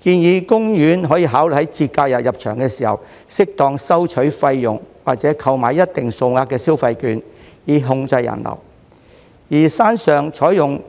建議公園可以考慮在節假日入場時適當收取費用或購買一定數額的消費券，以控制人流；而山上採用